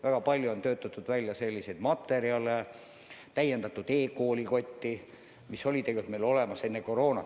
Väga palju on töötatud välja vajalikke materjale, täiendatud e-koolikotti, mis oli tegelikult olemas juba enne koroonat.